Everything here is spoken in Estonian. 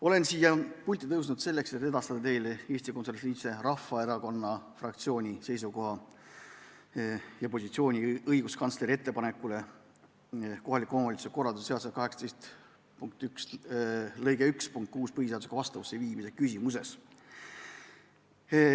Olen siia pulti tulnud selleks, et edastada teile Eesti Konservatiivse Rahvaerakonna fraktsiooni seisukoha ja positsiooni õiguskantsleri ettepaneku kohta kohaliku omavalitsuse korralduse seaduse § 18 lõike 1 punkti 6 põhiseadusega vastavusse viimise küsimuses.